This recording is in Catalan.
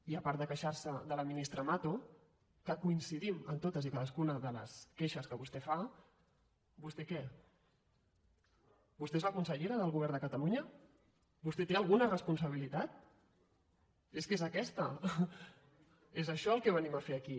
i a part de quei·xar·se de la ministra mato que coincidim en totes i ca·dascuna de les queixes que vostè fa vostè què vostè és la consellera del govern de catalunya vostè té alguna responsabilitat és que és aquesta és això el que venim a fer aquí